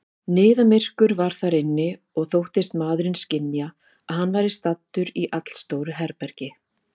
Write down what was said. Niðamyrkur var þar inni, og þóttist maðurinn skynja, að hann væri staddur í allstóru herbergi.